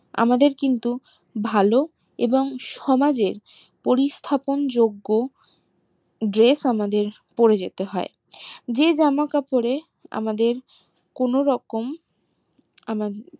আমাদের কিন্তু ভালো এবং সমাজে পরীস্তাপন যোগ্য dress আমাদের পরে যেতে হয় যে জামা কাপড় এ আমাদের কোনো রকম